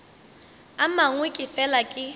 a mangwe ke fela ke